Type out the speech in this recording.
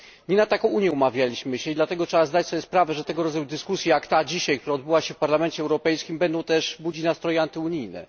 Nie na taką Unię umawialiśmy się i dlatego trzeba zdać sobie sprawę, że tego rodzaju dyskusje jak ta dzisiaj, która odbyła się w Parlamencie Europejskim, będą też budzić nastroje antyunijne.